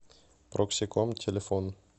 проксиком телефон